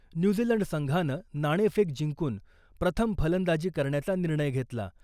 New Zealand संघानं नाणेफेक जिंकून प्रथम फलंदाजी करण्याचा निर्णय घेतला .